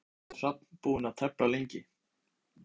Heimir, hvað er Hrafn búinn að tefla lengi?